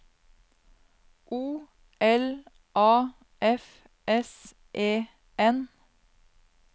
O L A F S E N